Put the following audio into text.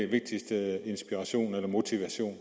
vigtigste inspiration eller motivation